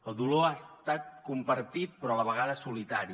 el dolor ha estat compartit però a la vegada solitari